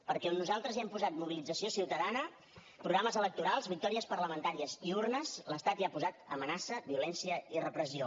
perquè on nosaltres hem posat mobilització ciutadana programes electorals victòries parlamentàries i urnes l’estat hi ha posat amenaça violència i repressió